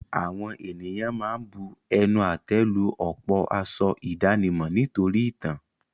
Àwọn ènìyàn ma ń bu ẹnu àtẹ́ lu ọ̀pọ̀ aṣọ ìdánimọ̀ nítorí ìtàn.